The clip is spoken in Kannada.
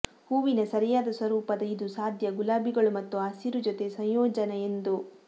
ಹೂವಿನ ಸರಿಯಾದ ಸ್ವರೂಪದ ಇದು ಸಾಧ್ಯ ಗುಲಾಬಿಗಳು ಮತ್ತು ಹಸಿರು ಜೊತೆ ಸಂಯೋಜನ ಎಂದು